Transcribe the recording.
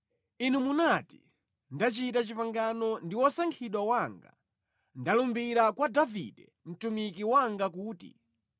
Inu munati, “Ndachita pangano ndi wosankhidwa wanga, ndalumbira kwa Davide mtumiki wanga kuti,